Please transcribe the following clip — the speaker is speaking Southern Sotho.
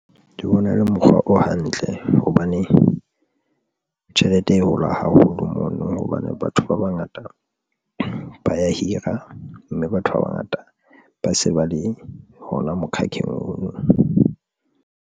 Ke bona e le mokgwa o hantle hobane tjhelete e hola haholo mono hobane batho ba bangata ba ya hira, mme batho ba bangata ba se ba le hona mokhakheng ono.